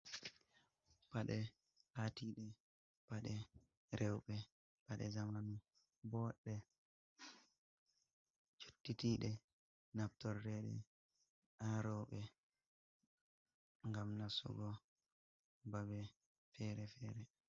Pade hatide paɗe rewbe paɗe zamanu bo ɗe cottitiɗe naftorreɗe aroɓe gam nasugo baɓe fere-fere